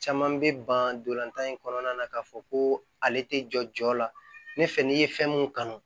Caman bɛ ban dolan in kɔnɔna na k'a fɔ ko ale tɛ jɔ jɔ la ne fɛ n'i ye fɛn mun kanu